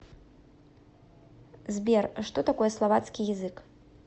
сбер что такое словацкий язык